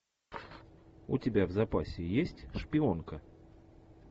у тебя в запасе есть шпионка